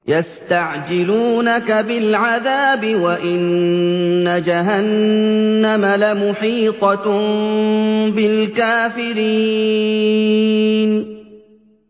يَسْتَعْجِلُونَكَ بِالْعَذَابِ وَإِنَّ جَهَنَّمَ لَمُحِيطَةٌ بِالْكَافِرِينَ